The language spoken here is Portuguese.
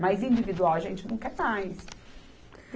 Mas individual, a gente não quer mais.